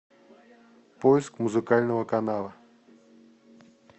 поиск музыкального канала